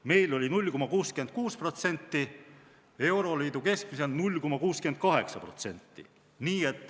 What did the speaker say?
Meil oli 0,66%, euroliidus keskmiselt 0,68%.